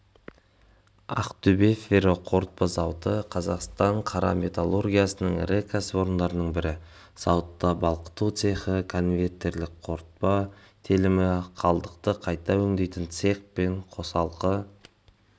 ақтөбе ферроқорытпа зауыты қазақстан қара металургиясының ірі кәсіпорындарының бірі зауытта балқыту цехы конвертерлік қорытпа телімі қалдықты қайта өңдейтін цех пен қосалқы